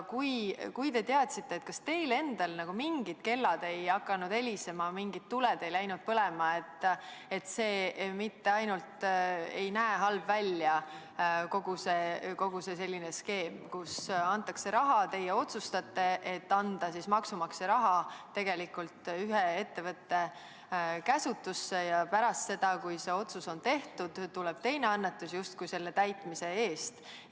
Kui te teadsite, kas teil endal mingid kellad ei hakanud helisema, mingid tuled ei läinud põlema, et see vähemalt näeb halb välja – kogu see skeem, kus antakse raha, kus teie otsustate anda maksumaksja raha ühe ettevõtte käsutusse ja pärast seda, kui see otsus on tehtud, tuleb teine annetus justkui selle otsuse eest?